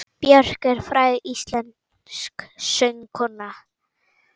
Björk er fræg íslensk söngkona.